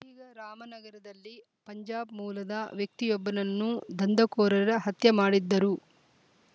ಹೀಗೆ ರಾಮನಗರದಲ್ಲಿ ಪಂಜಾಬ್‌ ಮೂಲದ ವ್ಯಕ್ತಿಯೊಬ್ಬನನ್ನು ದಂಧ ಕೋರರ ಹತ್ಯೆ ಮಾಡಿದ್ದರು